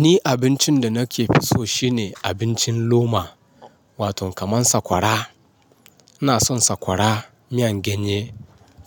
Ni abincin da nake fi so shine abincin loma wato kaman sakwara. Ina son sakwara, miyan ganye,